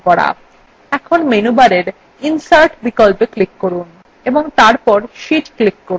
এখন menu bar insert বিকল্পএ click করুন ও তারপর sheetএ click করুন